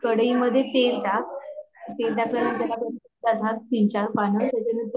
कढ़इ मधे तेल टाक तेलाच्या नंतर त्याच्यानंतर